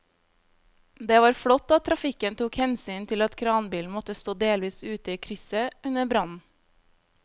Det var flott at trafikken tok hensyn til at kranbilen måtte stå delvis ute i krysset under brannen.